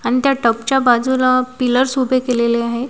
आणि त्या टपच्या बाजूला पिलर्स उभे केलेले आहे.